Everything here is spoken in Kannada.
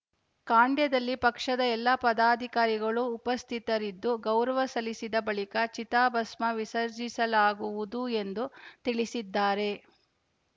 ಖಾಂಡ್ಯದಲ್ಲಿ ಪಕ್ಷದ ಎಲ್ಲಾ ಪದಾಧಿಕಾರಿಗಳು ಉಪಸ್ಥಿತರಿದ್ದು ಗೌರವ ಸಲ್ಲಿಸಿದ ಬಳಿಕ ಚಿತಾಭಸ್ಮ ವಿಸರ್ಜಿಸಲಾಗುವುದು ಎಂದು ತಿಳಿಸಿದ್ದಾರೆ